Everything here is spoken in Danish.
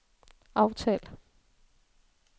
aftal